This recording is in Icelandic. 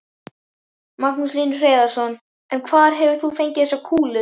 Magnús Hlynur Hreiðarsson: En hvar hefur þú fengið þessar kúlur?